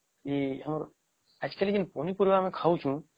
ଏ ଆମର Actually ପନି ପରିବା ଆମେ ଖାଉଚୁ